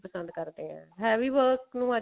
ਪਸੰਦ ਕਰਦੇ ਆ ਹੈ ਵੀ ਬਹੁਤ